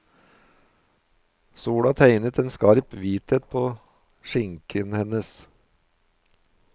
Sola tegnet en skarp hvithet påskinken hennes.